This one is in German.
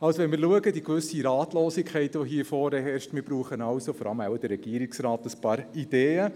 Also: Wenn wir die gewisse Ratlosigkeit betrachten, die hier herrscht, brauchen wir, vor allem der Regierungsrat, ein paar Ideen.